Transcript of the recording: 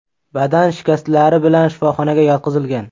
badan shikastlari bilan shifoxonaga yotqizilgan.